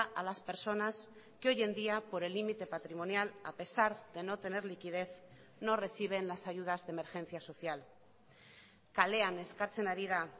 a las personas que hoy en día por el límite patrimonial a pesar de no tener liquidez no reciben las ayudas de emergencia social kalean eskatzen ari da